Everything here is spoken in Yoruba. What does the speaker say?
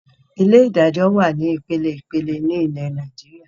Ilé ìdájọ́ wá ní ìpeleìpele ni ilẹ̀ Nàìjíríà